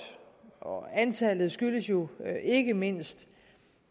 og antallet skyldes jo ikke mindst